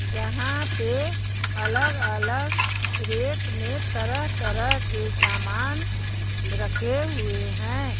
जहां पे अलग-अलग रैक में तरह-तरह के सामान रखे हुए हैं।